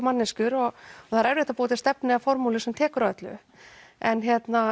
manneskjur og það er erfitt að búa til stefnu eða formúlu sem tekur á öllu en